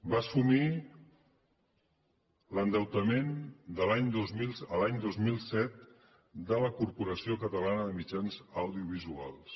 va assumir l’endeutament l’any dos mil set de la corporació catalana de mitjans audiovisuals